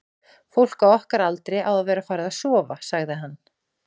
fólk á okkar aldri á að vera farið að sofa, sagði hann.